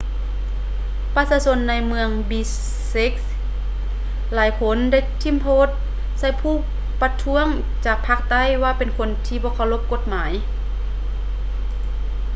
ປະຊາຊົນໃນເມືອງ ບິເຊັກ bishkek ຫຼາຍຄົນໄດ້ຖິ້ມໂທດໃສ່ຜູ້ປະທ້ວງຈາກພາກໃຕ້ວ່າເປັນຄົນທີ່ບໍ່ເຄົາລົບກົດໝາຍ